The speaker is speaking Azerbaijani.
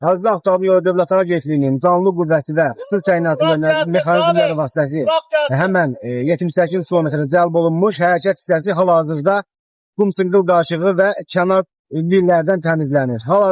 Azərbaycan Avtomobil Yolları Dövlət Agentliyinin canlı qüvvəsi və xüsusi təyinatlı mexanizmləri vasitəsilə həmin 78-ci kilometrə cəlb olunmuş hərəkət hissəsi hal-hazırda qum-çınqıl daşlığı və kənar lillərdən təmizlənir.